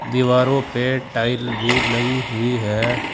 दीवारों पे टाइल भी लगी हुई है।